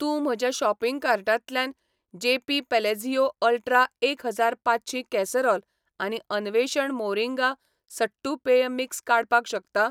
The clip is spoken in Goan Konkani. तूं म्हज्या शॉपिंग कार्टांतल्यान जेपी पॅलाझियो अल्ट्रा एक हजार पांचशीं कॅसरोल आनी अन्वेषण मोरिंगा सट्टू पेय मिक्स काडपाक शकता?